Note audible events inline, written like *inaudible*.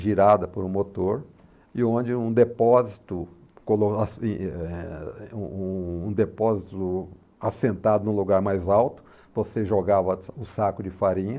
girada por um motor, e onde um depósito *unintelligible* um um depósito assentado num lugar mais alto, você jogava o saco de farinha.